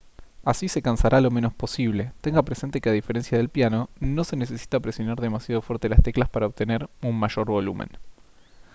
así se cansará lo menos posible tenga presente que a diferencia del piano no se necesita presionar demasiado fuerte las teclas para obtener un mayor volumen